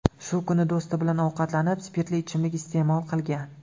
Shu kuni do‘sti bilan ovqatlanib, spirtli ichimlik iste’mol qilgan.